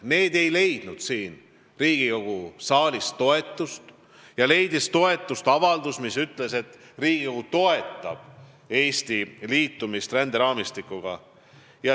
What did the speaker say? Need ei leidnud siin Riigikogu saalis toetust, kuid toetust leidis avaldus, mis ütleb, et Riigikogu toetab Eesti liitumist ränderaamistikuga.